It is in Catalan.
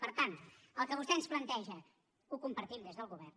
per tant el que vostè ens planteja ho compartim des del govern